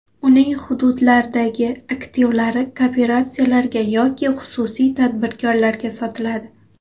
Uning hududlardagi aktivlari kooperatsiyalarga yoki xususiy tadbirkorlarga sotiladi.